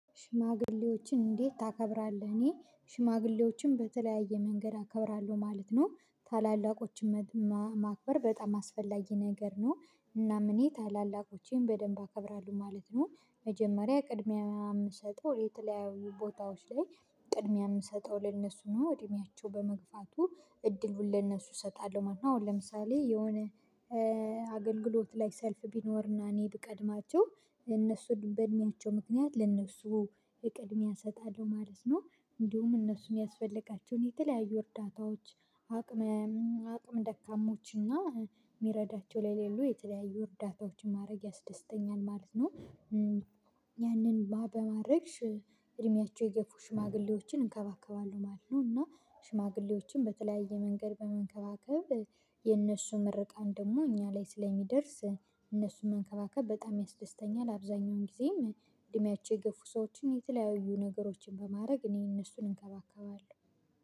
ሽማግሌዎችን እንዴት ታከብራለህ? እኔ ሽማግሌዎችን በተለያየ መንገድ አከብራለሁ ማለት ነው ታላላቆችን ማክበር በጣም አስፈላጊ ነገር ነው። እናም እኔ ታላላቆቼን በደንብ አከብራለሁ ማለት ነው። መጀመሪያ ቅድሚያ ምሰጠው የተለያዩ ቦታዎች ላይ ቅድሚያ የምሰጠው ለእነሱ ነው እድሜያቸው በመግፋቱ እድሉን ለነሱ እሰጣለሁ። ማንኛውም ለምሳሌ የሆነ አገልግሎት ላይ ሰልፍ ቢኖርና እኔ ብቀድማቸው እነሱ በእድሜያቸው ምክንያት ለእነሱ እቅድሚያ እሰጣለሁ ማለት ነው። እንዲሁም እነሱን ሚያስፈልጋቸውን የተለያዩ እርዳታዎች አቅመ አቅመ ደካሞችና የሚረዳቸው ላይ የሌሉ የተለያዩ እርዳታዎችን ማድረግ ያስደስተኛል ማለት ነው። ያንን በማድረግ እድሜያቸው የገፉ ሽማግሌዎችን እንከባከባለን ማለት ነው። እና ሽማግሌዎችን በተለያየ መንገድ በመንከባከብ የነሱን ምርቃን ደግሞ እኛ ላይ ስለሚደርስ እነሱን መንከባከብ በጣም ያስደስተኛል። አብዛኛውን ጊዜም እድሜያቸው የገፉ ሰዎችን የተለያዩ ነገሮችን በማድረግ እኔ እነሱን እንከባከባለን